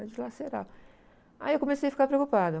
Dilacerava, aí eu comecei a ficar preocupada.